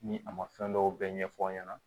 Ni a ma fɛn dɔw bɛɛ ɲɛfɔ aw ɲɛna